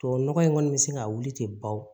Tubabu nɔgɔ in kɔni bɛ se ka wuli ten bao